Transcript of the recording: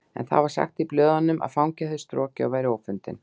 En það var sagt í blöðunum að fangi hefði strokið og væri ófundinn